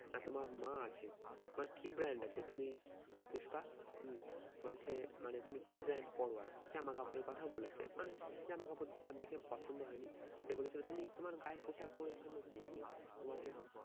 না তোমার মা আছে, তোমার কি brand আছে? তুমি পুষ্পা উম বলছে মানে তুমি কি brand পড়ো আর কি জামা কাপড়ের কথাও বলেছে মানে জামা কাপড় তার দেখে পছন্দ হয়নি। সে বলেছিলো তুমি তোমার গায়ের পোষাক পরিচ্ছন্ন কি দিয়ে? তোমার কি